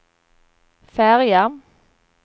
färja